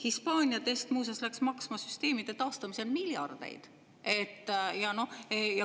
Hispaania test muuseas läks maksma süsteemide taastamisel miljardeid.